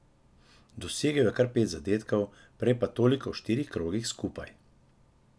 Dosegel je kar pet zadetkov, prej pa toliko v štirih krogih skupaj.